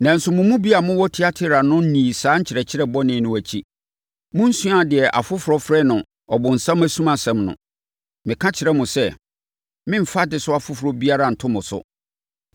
Nanso, momu bi a mowɔ Tiatira no nni saa nkyerɛkyerɛ bɔne no akyi. Monsuaa deɛ afoforɔ frɛ no ‘Ɔbonsam asumansɛm’ no. Meka mekyerɛ mo sɛ, meremfa adesoa foforɔ biara nto mo so.